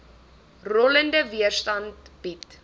rollende weerstand bied